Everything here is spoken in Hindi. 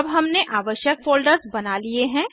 अब हमने आवश्यक फ़ोल्डर्स बना लिए हैं